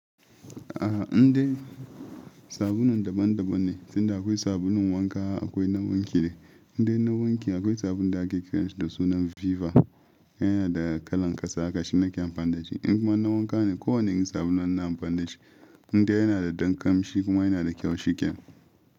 A in dai sabulun daban-daban ne, tunda akwai sabulun wanka akwai na wanki ai. Indai na wanki akwai sabulun da ake kiran shi da sunan Viva, yana da kalan ƙasa haka, shi nake amfani da shi. In kuma na wanka ne kowanne irin sabulu ma ina amfan dashi indai yana da dan ƙamshi kuma yana da kyau shiken.